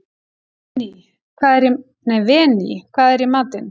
Véný, hvað er í matinn?